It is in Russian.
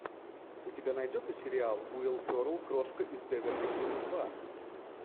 у тебя найдется сериал уилл феррелл крошка из беверли хиллз два